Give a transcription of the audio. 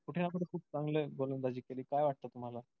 कुठे ना कुठे खूप चांगली गोलंदाजी केली काय वाटतं तुम्हांला?